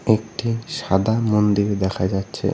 একটি সাদা মন্দির দেখা যাচ্ছে।